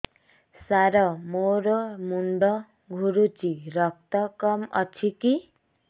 ସାର ମୋର ମୁଣ୍ଡ ଘୁରୁଛି ରକ୍ତ କମ ଅଛି କି